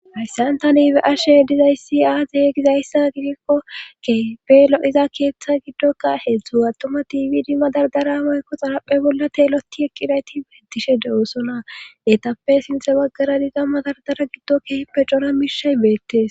hayssan tani be'she dizayssi aaze gizayssa gidikko kepe lo'iza keeththa giddoka heedzdzu attoma tibidi madardara mayko xanaphe bolla teeloti eqqinayti beettishe de7oosona etappe sinthe baggara diza madardara giddo keeppe cora mishay beettes